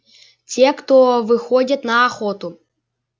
те кто выходит на охоту